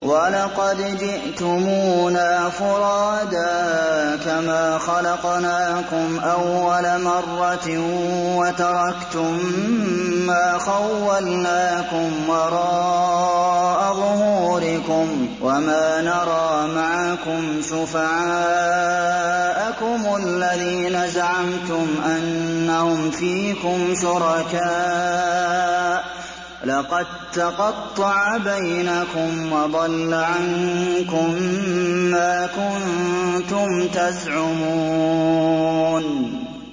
وَلَقَدْ جِئْتُمُونَا فُرَادَىٰ كَمَا خَلَقْنَاكُمْ أَوَّلَ مَرَّةٍ وَتَرَكْتُم مَّا خَوَّلْنَاكُمْ وَرَاءَ ظُهُورِكُمْ ۖ وَمَا نَرَىٰ مَعَكُمْ شُفَعَاءَكُمُ الَّذِينَ زَعَمْتُمْ أَنَّهُمْ فِيكُمْ شُرَكَاءُ ۚ لَقَد تَّقَطَّعَ بَيْنَكُمْ وَضَلَّ عَنكُم مَّا كُنتُمْ تَزْعُمُونَ